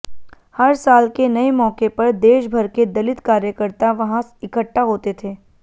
हर साल के नए मौके पर देशभर के दलित कार्यकर्ता वहां इकट्ठा होते थे